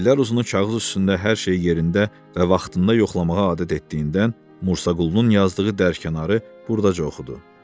İllər uzunu kağız üstündə hər şeyi yerində və vaxtında yoxlamağa adət etdiyindən Musa Qulunun yazdığı dərkənarı buradaca oxudu.